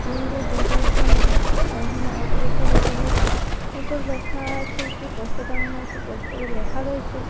মেয়েদের ঢোকার জন্য এখানে অপর একটি গেট দেখা যাচ্ছে এতে লেখা আছে একটি পোস্টার টাঙ্গানো আছে পোস্টের -এ লেখা রয়েছে--